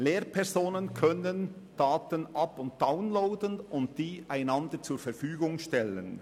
Lehrpersonen können Daten up- und downloaden und sie einander zur Verfügung stellen.